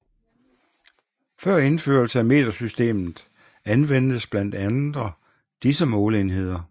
Før indførelse af metersystemet anvendtes blandt andre disse måleenheder